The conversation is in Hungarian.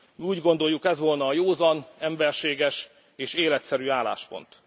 Mi úgy gondoljuk, ez volna a józan, emberséges és életszerű álláspont.